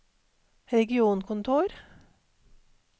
regionkontor